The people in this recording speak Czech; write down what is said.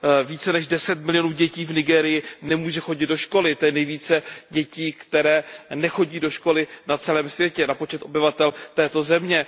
Více než deset milionů dětí v Nigérii nemůže chodit do školy, to je nejvíce dětí, které nechodí do školy, na celém světě na počet obyvatel této země.